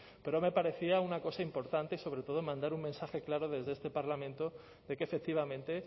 pero me parecía una cosa importante sobre todo mandar un mensaje claro desde este parlamento de que efectivamente